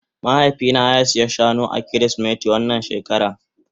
Mahaifi na ya siya Shane a kirisimeti wannan shekara.